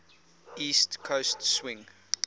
east coast swing